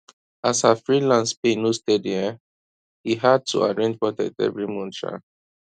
as her freelance pay no steady um e hard to arrange budget every month um